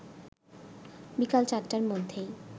বিকাল ৪টার মধ্যেই